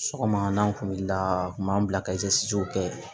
Sɔgɔma n'a kun wulila a kun b'an bila ka kɛ